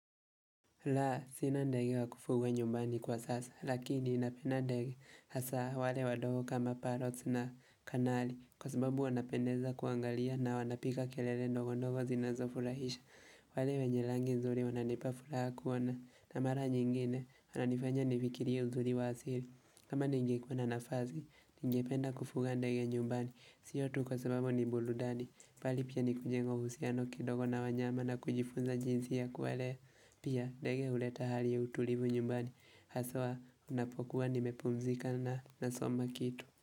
La, sina ndege wa kufuga nyumbani kwa sasa, lakini napenda ndege hasa wale wadogo kama parot na kanali, kwa sababu wanapendeza kuangalia na wanapiga kelele ndogo ndogo zinazofurahisha. Wale wenye rangi nzuri wananipa furaha kuona na mara nyingine wananifanya nifikiria uzuri wa asiri. Kama ningekuwa na nafasi, ningependa kufuga ndege nyumbani. Sio tu kwa sababu ni burudani. Mbali pia ni kujenga uhusiano kidogo na wanyama na kujifunza jinsi ya kuwalea. Pia ndege huleta hali ya utulivu nyumbani. Haswa ninapokuwa nimepumzika na nasoma kitu.